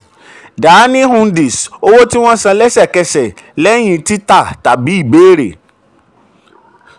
dahani hundi: owó tí wọ́n tí wọ́n san lẹ́sẹ̀kẹsẹ̀ lẹ́yìn títà tàbí ìbéèrè.